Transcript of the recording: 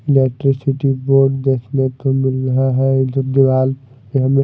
Electricity board देखने को मिल रहा है। एक दो दीवाल पे हमें--